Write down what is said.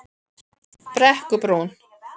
Brekkubrún